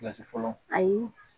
fɔlɔ ayi